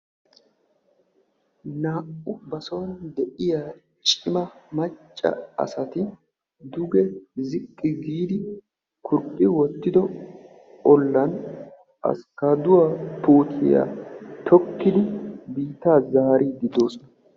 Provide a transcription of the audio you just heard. Naa''u ba son de'iya cima macca asati duge ziqqi giidi kurphphi wottido ollan askkaaduwa tokkiifdi biittaa zaariidde de'oosona.